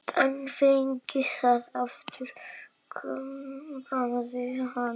En fengið það aftur, kumrar hann.